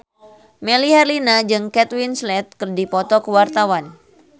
Melly Herlina jeung Kate Winslet keur dipoto ku wartawan